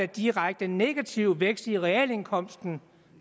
direkte negativ vækst i realindkomsten